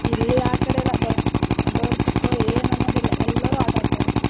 ಇಲ್ಲಿ ಆ ಕಡೆ ಎಲ್ಲಾ ದೊಡ್ಡೋರು, ಚಿಕ್ಕೋರು ಏನನ್ನೋದಿಲ್ಲ, ಎಲ್ಲರೂ ಆಟಾಡ್ತಾರೆ.